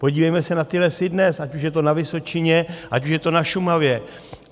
Podívejme se na ty lesy dnes, ať už je to na Vysočině, ať už je to na Šumavě.